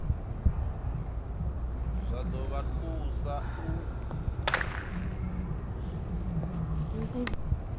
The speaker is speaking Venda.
zwa ḓo vha thusa u